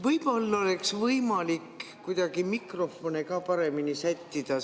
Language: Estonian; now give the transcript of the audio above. Võib-olla oleks võimalik kuidagi mikrofone paremini sättida.